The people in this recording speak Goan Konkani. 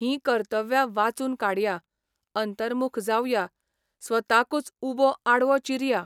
हीं कर्तव्यां वाचून काडया अंतर्मुख जावया स्वताकूच उबो आडवो चिरया.